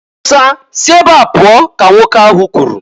"Musa si ebe a pụọ!" ka nwoke ahụ kwuru.